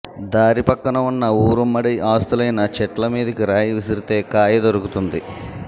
దారి పక్కన ఉన్న ఊరుమ్మడి ఆస్తులయిన చెట్ల మీదికి రాయి విసిరితే కాయ దొరుకుతుంది